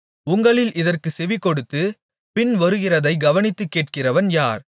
உங்களில் இதற்குச் செவிகொடுத்துப் பின்வருகிறதைக் கவனித்துக் கேட்கிறவன் யார்